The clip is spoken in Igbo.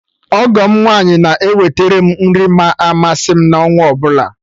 Ọgọ m nwaanyị na eweterem nri ma amasị m n'ọnwaọbụla